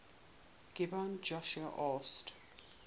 gibeon joshua asked